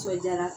Sɔjalan